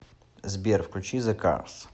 сбер включи зе карс